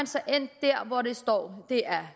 så endt der hvor der står